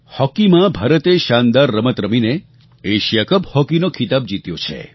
હોકીમાં ભારતે શાનદાર રમત રમીને એશિયા કપ હૉકીનો ખિતાબ જીત્યો છે